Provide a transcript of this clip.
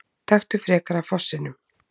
Taktu frekar af fossinum!